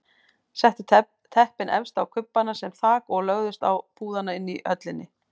Settu teppin efst á kubbana sem þak og lögðust á púðana inni í höllinni.